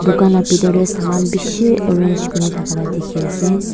dukan la bitor dey saman bishi arrange kuri na thaka la dikhi ase.